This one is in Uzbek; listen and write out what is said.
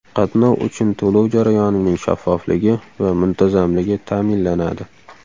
Qatnov uchun to‘lov jarayonining shaffofligi va muntazamligi ta’minlanadi.